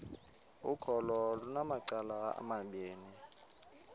ukholo lunamacala amabini